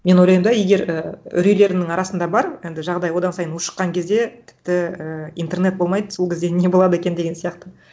мен ойлаймын да егер і үрейлерімнің арасында бар енді жағдай одан сайын ушыққан кезде тіпті ііі интернет болмайды сол кезде не болады екен деген сияқты